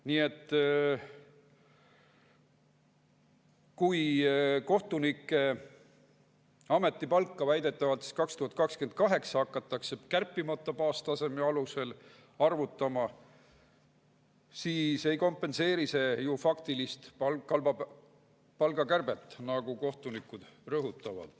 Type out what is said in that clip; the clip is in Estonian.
Nii et kui kohtunike ametipalka väidetavalt 2028. aastal hakatakse kärpimata baastaseme alusel arvutama, siis ei kompenseeri see ju faktilist palgakärbet, nagu kohtunikud rõhutavad.